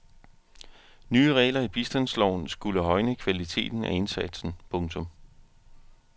Nye regler i bistandsloven skulle højne kvaliteten af indsatsen. punktum